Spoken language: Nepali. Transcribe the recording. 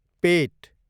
पेट